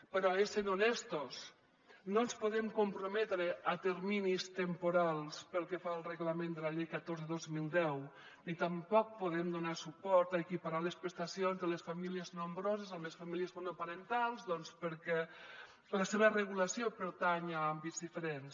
però essent honestos no ens podem comprometre a terminis temporals pel que fa al reglament de la llei catorze dos mil deu ni tampoc podem donar suport a equiparar les prestacions de les famílies nombroses amb les famílies monoparentals doncs perquè la seva regulació pertany a àmbits diferents